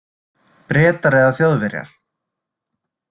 Bretar eða Þjóðverjar?